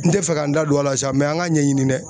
N tɛ fɛ ka n da don a la sa mɛ an ka ɲɛɲini dɛ